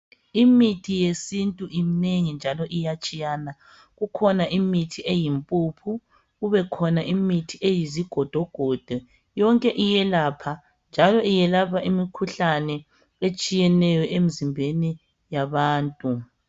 Imithi yesintu iminengi njalo iyatshiyana, kukhona imithi eyimpuphu, kubekhona imithi eyizigodogodo, yonke iyelapha njalo iyelapha imkhuhlane etshiyeneyo emzimbeni yabantu.